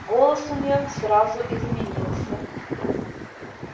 голос у неё сразу изменился